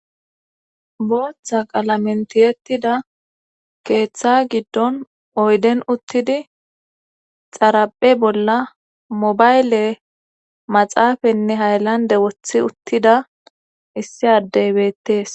Booththa qalamentiyettida keeththa giddon oyden uttidi xaraphe bolla mobayle maxaafanne haylande wothi uttida issi addeybettees.